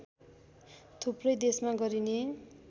थुप्रै देशमा गरिने